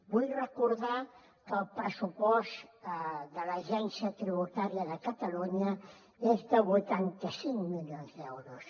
vull recordar que el pressupost de l’agència tributària de catalunya és de vuitanta cinc milions d’euros